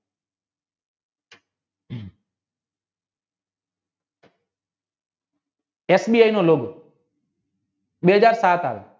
બે હાજર સાત આવે